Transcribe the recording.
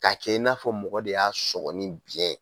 K'a kɛ i n'a fɔ mɔgɔ de y'a sɔgɔ ni biyɛn ye